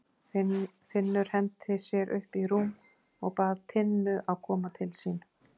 Finnur henti sér upp í rúm og bað Tinnu að koma til sín.